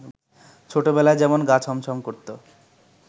ছোটবেলায় যেমন গা ছমছম করত